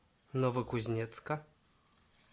новокузнецка